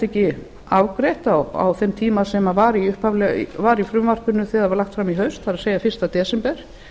ekki afgreitt á þeim tíma sem var í frumvarpinu þegar það var lagt fram í haust það er fyrsta desember